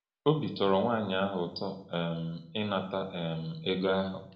Obi tọrọ nwaanyị ahụ ụtọ um um ịnata um ego ahụ.